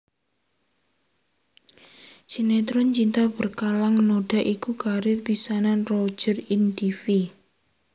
Sinetron Cinta Berkalang Noda iku karier pisanan Roger ing tivi